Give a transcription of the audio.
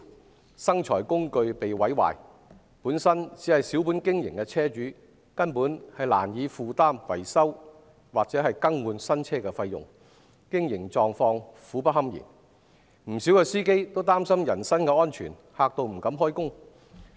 面對生財工具被毀壞，本身只是小本經營的車主，根本難以負擔維修或更換新車的費用，經營狀況苦不堪言；不少司機更因擔心人身安全，不敢開工。